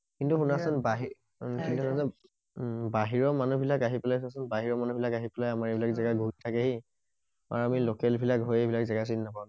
কিন্তু শুনাচোন বাহিৰ উম বাহিৰৰ মানুহ বিলাক আহি পেলাই চোৱাচোন বাহিৰৰ মানুহ বিলাক আহি পেলাই আমাৰ এই বিলাক জেগা ঘূৰি থাকেহি আৰু আমি লকেল বিলাক হৈ এই বিলাক জেগা চিনি নাপাও